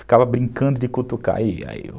Ficava brincando de cutucar